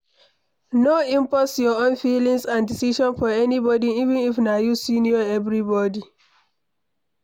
No impose your own feelings and decision for anybody even if na you senior everybody